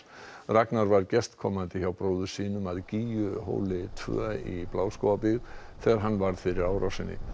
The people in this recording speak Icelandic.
Ragnar var gestkomandi hjá bróður sínum að tvö í Bláskógabyggð þegar hann varð fyrir árásinni